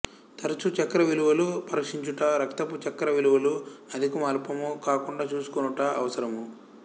తఱచు చక్కెర విలువలు పరీక్షించుట రక్తపు చక్కెరవిలువలు అధికము అల్పము కాకుండా చూసుకొనుట అవసరము